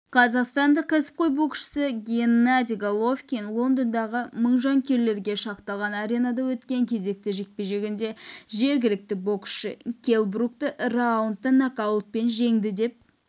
қазақстандық кәсіпқой боксшы геннадий головкин лондондағы мың жанкүйерге шақталған аренада өткен кезекті жекпе-жегінде жергілікті боксшы келл брукты раундта нокаутпен жеңді деп